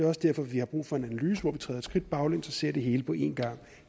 også derfor vi har brug for en analyse hvor vi træder et skridt baglæns og ser det hele på en gang